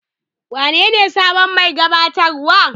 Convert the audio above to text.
Wanene sabon mai gabatarwa?